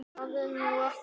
Það er nú ekki.